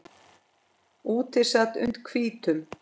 Úti sat und hvítum